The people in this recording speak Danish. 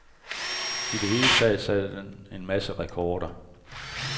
I det hele taget satte den en masse rekorder.